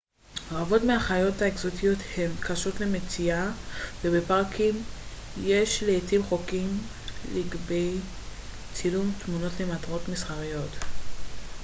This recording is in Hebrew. רבות מהחיות אקזוטיות הן קשות למציאה ובפארקים יש לעתים חוקים לגבי צילום תמונות למטרות מסחריות